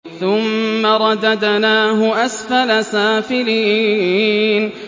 ثُمَّ رَدَدْنَاهُ أَسْفَلَ سَافِلِينَ